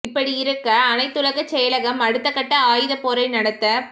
இப்படியிருக்க அனைத்துலகச் செயலகம் அடுத்த கட்ட ஆயுதப் போரை நடத்தப்